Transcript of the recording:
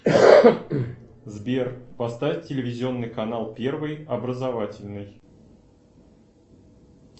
сбер поставь телевизионный канал первый образовательный